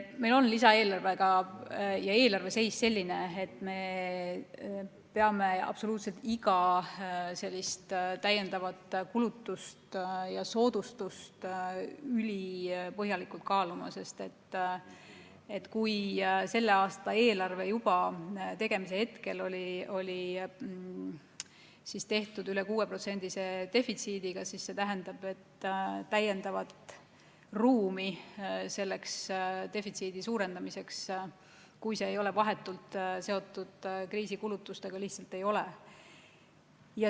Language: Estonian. Meil on lisaeelarve ja eelarve seis selline, et peame absoluutselt iga täiendavat kulutust ja soodustust ülipõhjalikult kaaluma, sest kui selle aasta eelarve juba tegemise hetkel oli üle 6%-lise defitsiidiga, siis see tähendab, et täiendavat ruumi defitsiidi suurendamiseks, kui see ei ole vahetult seotud kriisikulutustega, lihtsalt ei ole.